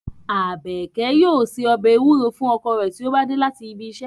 Abeke yoo se ọbẹ ewuro fun ọkọ re ti o ba de lati ibi iṣẹ